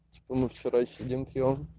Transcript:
что мы вчера сидим пьём